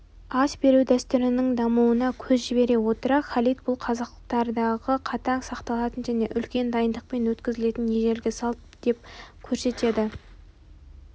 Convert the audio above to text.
ас беру дәстүрінің дамуына көз жібере отыра халид бұл қазақтардағы қатаң сақталатын және үлкен дайындықпен өткізілетін ежелгі салт деп көрсетеді